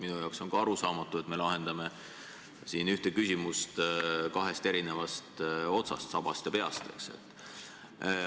Minu jaoks on ka arusaamatu, et me lahendame siin ühte küsimust kahest eri otsast, sabast ja peast.